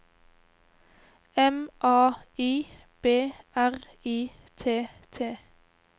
M A I B R I T T